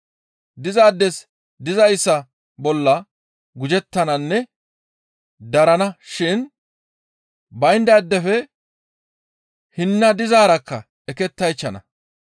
Dizaades dizayssa bolla gujettananne darana shin bayndaadefe hinna dizaarakka ekettaychchana.